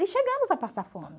E chegamos a passar fome.